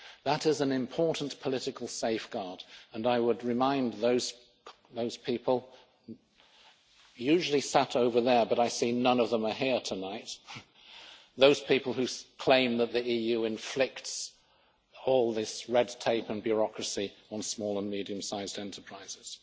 That is an important political safeguard and I would remind those people, usually sat over there, but I see none of them are here tonight, those people who claim that the EU inflicts all this red tape and bureaucracy on small and medium sized enterprises.